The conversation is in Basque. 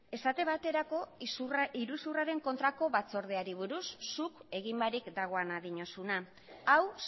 esate baterako iruzurraren kontrako batzordeari buruz zuk egin barik dagoena diozuna hau